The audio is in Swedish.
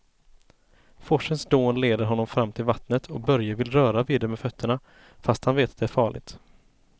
Forsens dån leder honom fram till vattnet och Börje vill röra vid det med fötterna, fast han vet att det är farligt.